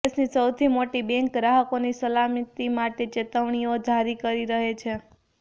દેશની સૌથી મોટી બેન્ક ગ્રાહકોની સલામતી માટે ચેતવણીઓ જારી કરતી રહે છે